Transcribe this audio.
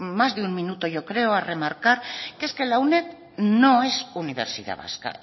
más de un minuto yo creo a remarcar que es que la uned no es universidad vasca